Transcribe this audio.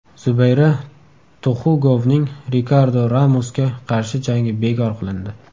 Zubayra Tuxugovning Rikardo Ramosga qarshi jangi bekor qilindi.